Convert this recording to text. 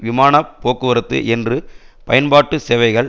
விமான போக்குவரத்து என்று பயன்பாட்டு சேவைகள்